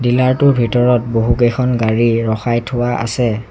Dealer টোৰ ভিতৰত বহুকেইখন গাড়ী ৰখাই থোৱা আছে।